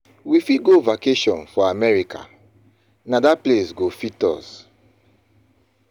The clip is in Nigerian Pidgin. We fit go vacation for America, na dat place go fit us.